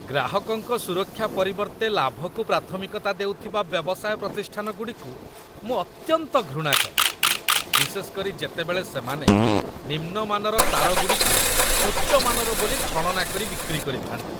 ଗ୍ରାହକଙ୍କ ସୁରକ୍ଷା ପରିବର୍ତ୍ତେ ଲାଭକୁ ପ୍ରାଥମିକତା ଦେଉଥିବା ବ୍ୟବସାୟ ପ୍ରତିଷ୍ଠାନଗୁଡ଼ିକୁ ମୁଁ ଅତ୍ୟନ୍ତ ଘୃଣା କରେ, ବିଶେଷ କରି ଯେତେବେଳେ ସେମାନେ ନିମ୍ନମାନର ତାରଗୁଡ଼ିକୁ ଉଚ୍ଚମାନର ବୋଲି ଛଳନା କରି ବିକ୍ରି କରିଥାନ୍ତି।